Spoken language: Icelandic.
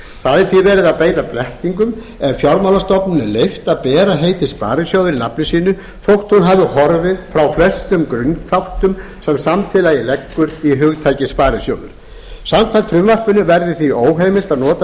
það er því verið að beita blekkingum ef fjármálastofnun er leyft að bera heitið sparisjóður í nafni sínu þótt hún hafi horfið frá flestum grunnþáttum sem samfélagið leggur í hugtakið sparisjóður samkvæmt frumvarpinu verður því óheimilt að nota